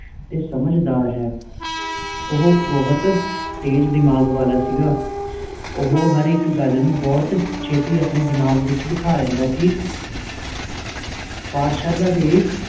ਤੇ ਸਮਝਦਾਰ ਹੈ ਓਹੋ ਬਹੁਤ ਤੇਜ ਦਮਾਗ ਵਾਲਾ ਸੀਗਾ ਓਹੋ ਹਰ ਇਕ ਗੱਲ ਨੂੰ ਬਹੁਤ ਛੇਤੀ ਆਪਣੇ ਦਮਾਗ ਵਿਚ ਬੈਠਾ ਲੈਂਦਾ ਸੀ ਪਾਠਸ਼ਾਲਾ ਦੇ